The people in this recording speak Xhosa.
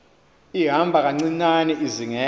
ihamba kancinane izingela